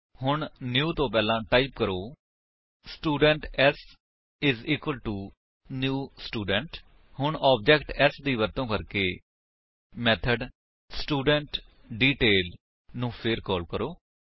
ਹੁਣ ਨਿਊ ਤੋ ਪਹਿਲਾਂ ਟਾਈਪ ਕਰੋ student s IS equal to new student ਹੁਣ ਆਬਜੇਕਟ s ਦੀ ਵਰਤੋ ਕਰਕੇ ਮੇਥਡ ਸਟੂਡੈਂਟਡੀਟੇਲ ਨੂੰ ਫੇਰ ਕਾਲ ਕਰੋ